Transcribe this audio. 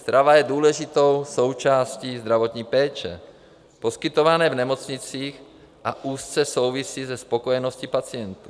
Strava je důležitou součástí zdravotní péče poskytované v nemocnicích a úzce souvisí se spokojeností pacientů.